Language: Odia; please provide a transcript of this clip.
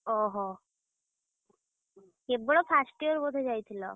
ଓହୋ, କେବଳ first year ବୋଧେ ଯାଇଥିଲ?